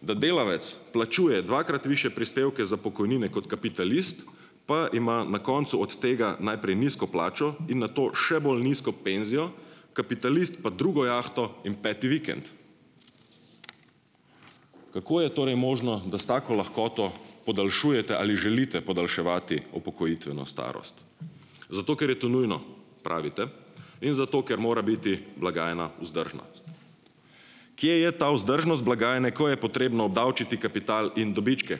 da delavec plačuje dvakrat višje prispevke za pokojnine kot kapitalist pa ima na koncu od tega najprej nizko plačo in nato še bolj nizko penzijo, kapitalist pa drugo jahto in peti vikend, kako je torej možno, da s tako lahkoto podaljšujete ali želite podaljševati upokojitveno starost, zato ker je to nujno, pravite, in zato ker mora biti blagajna vzdržna. Kje je ta vzdržnost blagajne, ko je potrebno obdavčiti kapital in dobičke,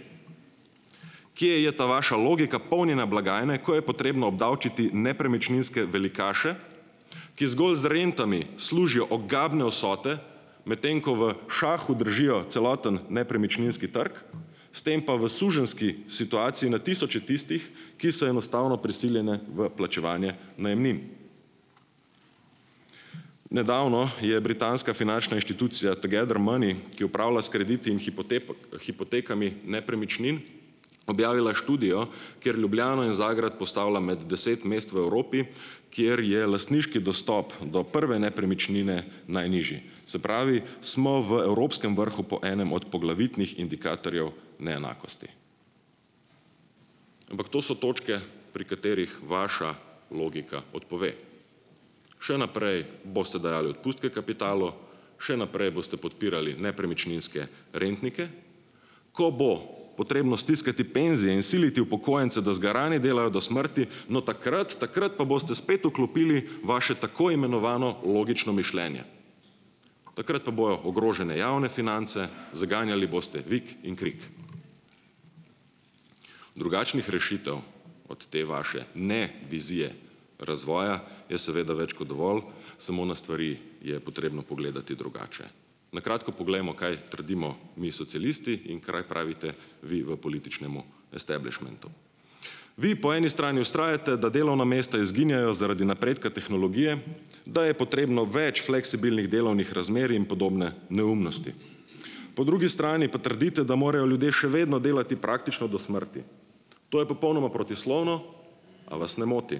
kje je ta vaša logika polnjenja blagajne, ko je potrebno obdavčiti nepremičninske velikaše, ki zgolj z rentami služijo ogabne vsote, medtem ko v šahu držijo celoten nepremičninski trg, s tem pa v suženjski situaciji na tisoče tistih, ki so enostavno prisiljeni v plačevanje najemnin? Nedavno je britanska finančna inštitucija Together money, ki upravlja s krediti in hipotekami nepremičnin, objavila študijo, kjer Ljubljano in Zagreb postavlja med deset mest v Evropi, kjer je lastniški dostop do prve nepremičnine najnižji, se pravi, smo v evropskem vrhu po enem od poglavitnih indikatorjev neenakosti, ampak to so točke, pri katerih vaša logika odpove, še naprej boste dajali odpustke kapitalu, še naprej boste podpirali nepremičninske rentnike, ko bo potrebno stiskati penzije in siliti upokojence, da zgarani delajo do smrti, no, takrat takrat pa boste spet vklopili vaše tako imenovano logično mišljenje, takrat pa bojo ogrožene javne finance, zganjali boste vik in krik, drugačnih rešitev od te vaše ne vizije razvoja je seveda več kot dovolj, samo na stvari je potrebno pogledati drugače, na kratko poglejmo, kaj trdimo mi socialisti in kaaj pravite vi v političnemu establišmentu, vi po eni strani vztrajate, da delovna mesta izginjajo zaradi napredka tehnologije, da je potrebno več fleksibilnih delovnih razmer in podobne neumnosti, po drugi strani pa trdite, da ljudje še vedno delati praktično do smrti, to je popolnoma protislovno. A vas ne moti,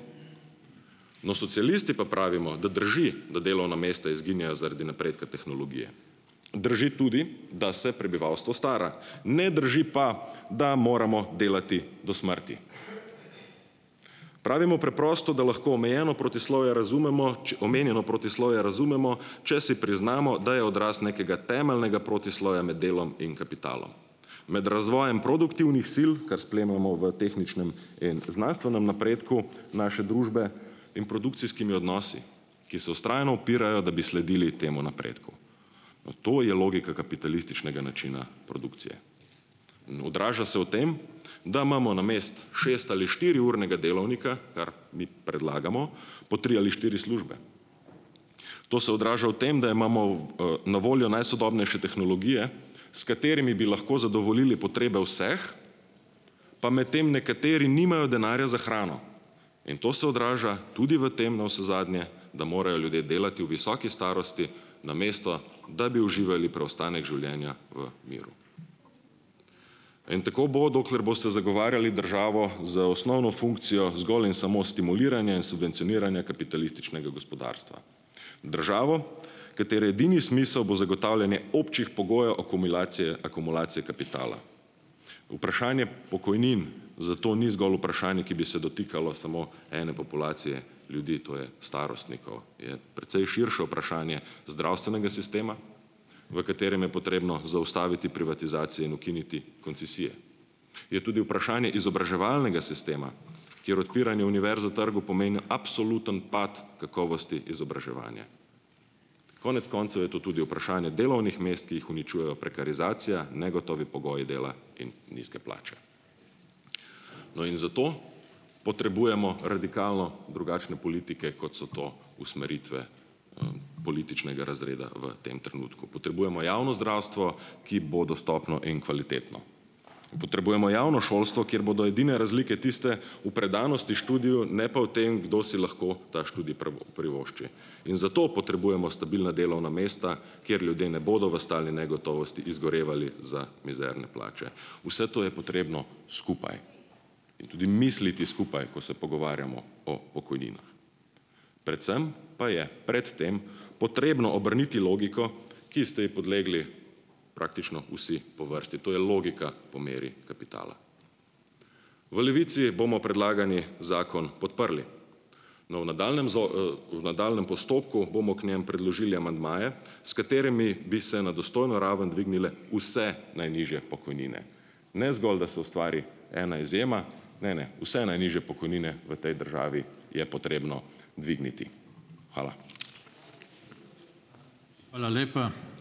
no, socialisti pa pravimo, da drži, da delovna mesta izginjajo zaradi napredka tehnologije, drži tudi, da se prebivalstvo stara, ne drži pa, da moramo delati do smrti, pravimo preprosto, da lahko omejeno protislovje razumemo omenjeno protislovje razumemo, če si priznamo, da je odraz nekega temeljnega protislovja med delom in kapitalom, med razvojem produktivnih sil, kar sklenemo v tehničnem in znanstvenem napredku naše družbe in produkcijskimi odnosi, ki se vztrajno upirajo, da bi sledili temu napredku, no, to je logika kapitalističnega načina produkcije, odraža se v tem, da imamo namesto šest- ali štiriurnega delovnika, kar mi predlagamo, po tri ali štiri službe to se odraža v tem, da imamo na voljo najsodobnejše tehnologije, s katerimi bi lahko zadovoljili potrebe vseh, pa medtem nekateri nimajo denarja za hrano in to se odraža tudi v tem navsezadnje, da morajo ljudje delati v visoki starosti, namesto da bi uživali preostanek življenja v miru, in tako bo, dokler boste zagovarjali državo z osnovno funkcijo zgolj in samo stimuliranja, subvencioniranja kapitalističnega gospodarstva, državo, katere edini smisel bo zagotavljanje občih pogojev akumulacije, akumulacije kapitala, vprašanje pokojnin zato ni zgolj vprašanje, ki bi se dotikalo ene populacije ljudi, to je starostnikov, je precej širše vprašanje zdravstvenega sistema, v katerem je potrebno zaustaviti privatizacije in ukiniti koncesije, je tudi vprašanje izobraževalnega sistema, kjer odpiranje univerz v trgu pomenijo absoluten pad kakovosti izobraževanja, konec koncev je to tudi vprašanje delovnih mest, ki jih uničujejo prekarizacija, negotovi pogoji dela in nizke plače, no, in zato potrebujemo radikalno drugačne politike, kot so to usmeritve, političnega razreda, v tem trenutku potrebujemo javno zdravstvo, ki bo dostopno in kvalitetno, potrebujemo javno šolstvo, kjer bodo edine razlike tiste v predanosti študiju, ne pa v tem, kdo si lahko ta študij privošči, in zato potrebujemo stabilna delovna mesta, kjer ljudje ne bodo v stalni negotovosti izgorevali za mizerne plače, vse to je potrebno skupaj, in tudi misliti skupaj, ko se pogovarjamo o pokojninah, predvsem pa je pred tem potrebno obrniti logiko, ki ste ji podlegli praktično vsi po vrsti, to je logika po meri kapitala, v Levici bomo predlagani zakon podprli, no, v nadaljnjem nadaljnjem postopku bomo k njemu predložili amandmaje, s katerimi bi se na dostojno raven dvignile vse najnižje pokojnine, ne zgolj da se ustvari ena izjema, ne, ne, vse najnižje pokojnine v tej državi je potrebno dvigniti. Hvala. Hvala lepa.